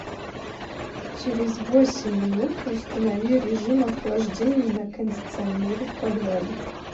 через восемь минут установи режим охлаждения на кондиционере в подвале